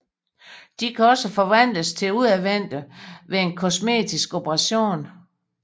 De kan også forvandles til udadvendte ved en kosmetisk operation